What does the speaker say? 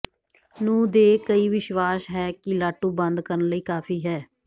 ਨੂੰ ਦੇ ਕਈ ਵਿਸ਼ਵਾਸ ਹੈ ਕਿ ਲਾਟੂ ਬੰਦ ਕਰਨ ਲਈ ਕਾਫ਼ੀ ਹੈ